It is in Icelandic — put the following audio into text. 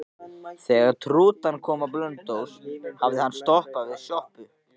Þegar rútan kom á Blönduós hafði hún stoppað við sjoppu.